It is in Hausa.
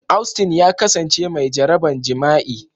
Austin ya kasance mai jaraban jima'i.